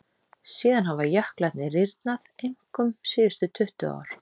Síðan hafa jöklarnir rýrnað, einkum síðustu tuttugu ár.